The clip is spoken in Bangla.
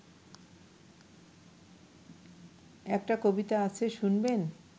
একটা কবিতা আছে শুনবেন